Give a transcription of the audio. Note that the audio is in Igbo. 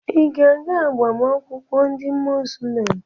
Ị ga-aga agbamakwụkwọ ndị Muzlem?